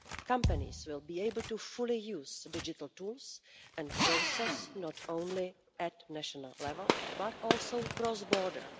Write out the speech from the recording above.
Companies will be able to fully use digital tools and processes not only at national level, but also cross border.